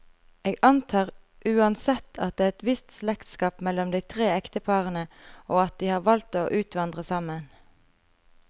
Jeg antar uansett, at det er et visst slektskap mellom de tre ekteparene, og at de har valgt å utvandre sammen.